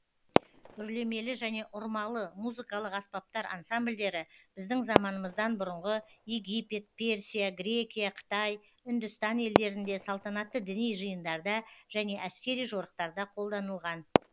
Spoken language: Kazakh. үрлемелі және ұрмалы музыкалық аспаптар ансамбльдері біздің заманымыздан бұрынғы египет персия грекия қытай үндістан елдерінде салтанатты діни жиындарда және әскери жорықтарда қолданылған